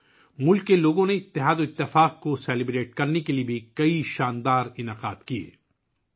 ملک کے لوگوں نے بھی اتحاد اور یکجہتی کا جشن منانے کے لیے بہت سی شاندار تقریبات کا اہتمام کیا